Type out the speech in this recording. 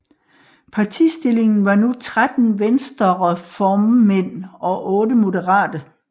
Partistillingen var nu 13 venstrereformmænd og 8 moderate